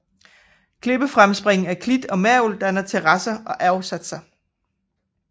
Klippefremspring af kridt og mergel danner terrasser og afsatser